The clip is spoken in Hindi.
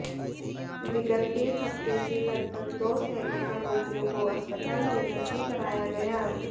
विगत एक हफ्ते से लगभग दो सैकड़ा रोगियों को अस्पताल में भर्ती कराया गया